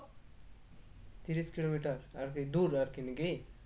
তিরিশ কিলোমিটার আরকি দূর আরকি নাকি?